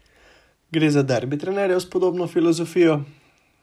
Gre za derbi trenerjev s podobno filozofijo?